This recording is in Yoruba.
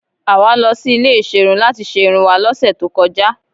Àwa lọ sí ilé ìserun láti ṣe irun wá lọ́sẹ̀ tó kọjá.